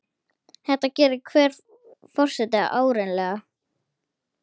Þetta gerir hver forseti árlega.